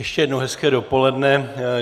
Ještě jednou hezké dopoledne.